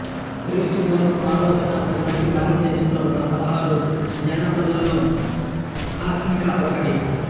క్రీస్తు పూర్వం ఆరవ శతాబ్దం నాటికి భారతదేశంలో ఉన్న పదహారు జనపథాల్లో అస్మక ఒకటి